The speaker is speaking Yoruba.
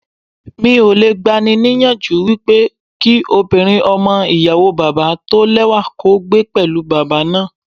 Mi ò le gba ni ní ìyànjú wípé kí ọmọbìnrin ọmọ ìyàwó bàbá tó lẹ́wà kó gbé pẹ̀lú bàbá náà.